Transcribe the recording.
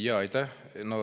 Jaa, aitäh!